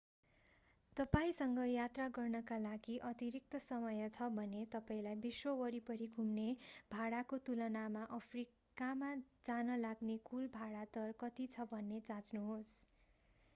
तपाईंसँग यात्रा गर्नका लागि अतिरिक्त समय छ भने तपाईंलाई विश्व वरिपरि घुम्ने भाडाको तुलनामा अफ्रीकामा जान लाग्ने कुल भाँडा दर कति छ भनेर जाँच्नुहोस्